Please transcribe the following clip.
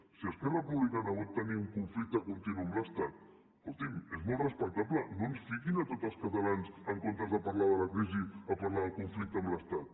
si esquerra republicana vol tenir un conflicte continu amb l’estat escolti’m és molt respectable no ens fiquin a tots els catalans en comptes de parlar de la crisi a parlar del conflicte amb l’estat